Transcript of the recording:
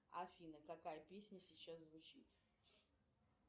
афина какая песня сейчас звучит